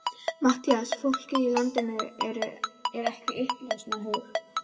MATTHÍAS: Fólkið í landinu er ekki í uppreisnarhug.